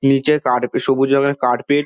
নিচে কার সবুজ রঙের কার্পেট ।